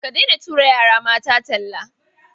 Ka daina tura yara mata talla.